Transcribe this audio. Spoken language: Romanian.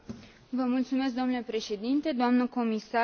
Vă mulțumesc domnule președinte, doamnă comisar.